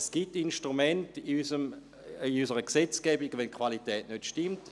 Es gibt Instrumente in unserer Gesetzgebung, wenn die Qualität nicht stimmt.